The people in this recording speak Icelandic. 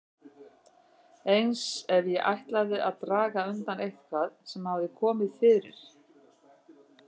Eins ef ég ætlaði að draga undan eitthvað sem hafði komið fyrir.